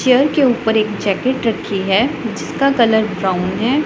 Chair के ऊपर एक जॅकेट रखी हैं जिसका कलर ब्राउन हैं।